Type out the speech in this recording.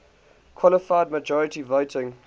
qualified majority voting